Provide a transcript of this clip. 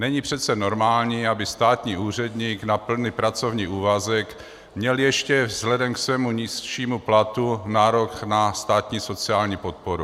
Není přece normální, aby státní úředník na plný pracovní úvazek měl ještě vzhledem k svému nižšímu platu nárok na státní sociální podporu.